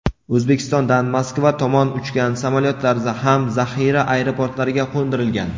O‘zbekistondan Moskva tomon uchgan samolyotlar ham zaxira aeroportlariga qo‘ndirilgan.